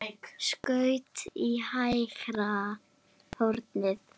Skaut í hægra hornið.